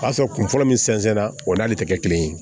O y'a sɔrɔ kun fɔlɔ min sɛnsɛn na o n'ale tɛ kɛ kelen ye